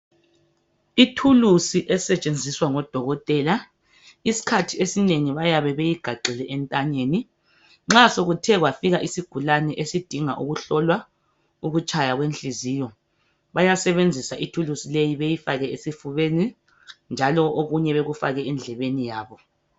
Ithulusi esetshenziswa ngodokotela isikhathi esinengi bayabe beyigaxe entanyeni nxa sokuthe kwafika isigulane esidinga ukuhlolwa ukutshaya kwenhliziyo bayasebenzisa ithulusi leyi beyifake esifubeni njalo okunye bekufake endlebeni yabo.